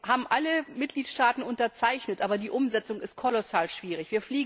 Den haben alle Mitgliedstaaten unterzeichnet, aber die Umsetzung ist kolossal schwierig.